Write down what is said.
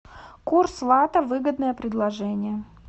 курс лата выгодное предложение